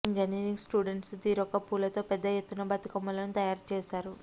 engineering students తీరొక్క పూలతో పెద్ద ఎత్తున బతుకమ్మలను తయారు చేశారు